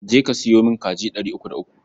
Je ka sayo min kaji ɗari uku da uku.